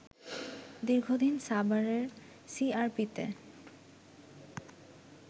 দীর্ঘদিন সাভারের সিআরপিতে